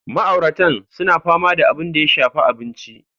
Ma'auratan suna fama da abin da ya shafi abinci.